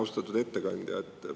Austatud ettekandja!